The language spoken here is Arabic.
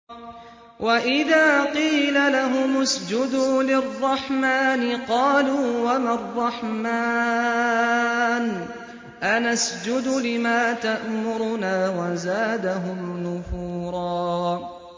وَإِذَا قِيلَ لَهُمُ اسْجُدُوا لِلرَّحْمَٰنِ قَالُوا وَمَا الرَّحْمَٰنُ أَنَسْجُدُ لِمَا تَأْمُرُنَا وَزَادَهُمْ نُفُورًا ۩